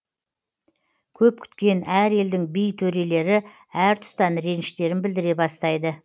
көп күткен әр елдің би төрелері әртұстан реніштерін білдіре бастайды